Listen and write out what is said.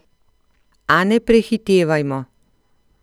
A ne prehitevajmo.